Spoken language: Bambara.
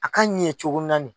A ka ɲɛ cogo